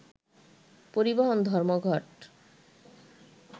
পরিবহন ধর্মঘট